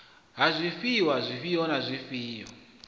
ha zwifhiwa zwifhio na zwifhio